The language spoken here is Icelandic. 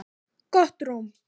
Gott rúm